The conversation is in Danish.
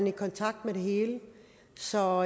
i kontakt med det hele så